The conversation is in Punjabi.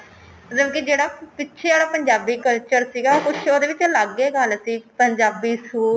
ਮਤਲਬ ਕਿ ਜਿਹੜਾ ਪਿੱਛੇ ਆਲਾ ਪੰਜਾਬੀ culture ਸੀਗਾ ਕੁੱਛ ਉਹਦੇ ਵਿੱਚ ਅਲੱਗ ਏ ਗੱਲ ਸੀ ਪੰਜਾਬੀ